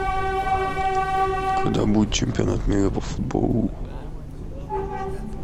когда будет чемпионат мира по футболу